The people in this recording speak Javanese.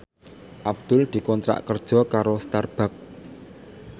Abdul dikontrak kerja karo Starbucks